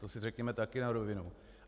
To si řekněme také na rovinu.